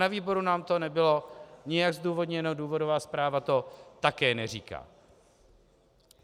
Na výboru nám to nebylo nijak zdůvodněno, důvodová zpráva to také neříká.